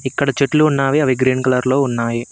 ఇక్కడ చెట్లు ఉన్నావి అవి గ్రీన్ కలర్ లో ఉన్నాయి.